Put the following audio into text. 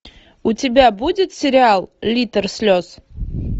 у тебя будет сериал литр слез